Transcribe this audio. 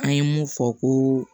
An ye mun fɔ ko